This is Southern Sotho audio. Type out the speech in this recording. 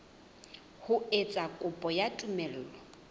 ho etsa kopo ya tumello